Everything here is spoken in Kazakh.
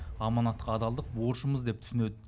аманатқа адалдық борышымыз деп түсінеді